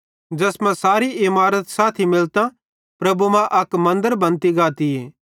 ज़ैस मां सारी इमारत साथी मिलतां प्रभु मां अक मन्दर बनती गातीए